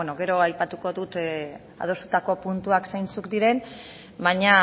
gero aipatuko ditut adostutako puntuak zeintzuk diren baina